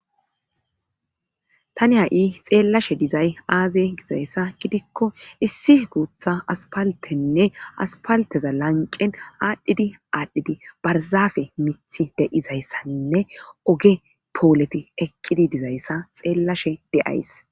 tani ha7i xeellashe dizay aaze gizayssa gidikko issi guutha aspaltenne aspalteza lanqen aadhdhidi aadhdhidi barzafe mithi de7izayssanne oge pooleti eqqidi dizayssa xeellashe de7ays